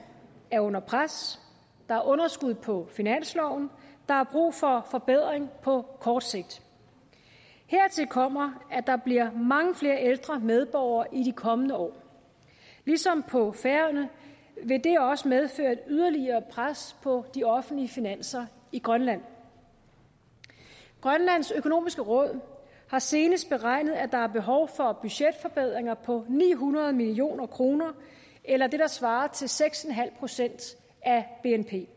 er under pres der er underskud på finansloven der er brug for forbedring på kort sigt hertil kommer at der bliver mange flere ældre medborgere i de kommende år ligesom på færøerne vil det også medføre et yderligere pres på de offentlige finanser i grønland grønlands økonomiske råd har senest beregnet at der er behov for budgetforbedringer på ni hundrede million kroner eller det der svarer til seks en halv procent af bnp